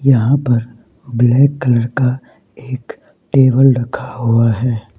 यहां पर black colour का एक टेबल रखा हुआ है।